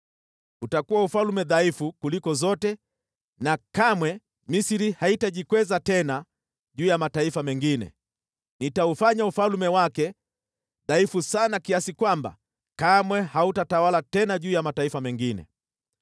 Utakuwa ufalme dhaifu kuliko zote na kamwe Misri haitajikweza tena juu ya mataifa mengine. Nitaufanya ufalme wake dhaifu sana kiasi kwamba kamwe hautatawala tena juu ya mataifa mengine.